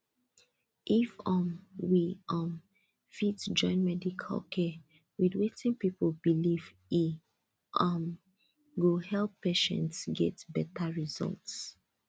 if um we um fit join medical care with wetin people believe e um go help patients get better result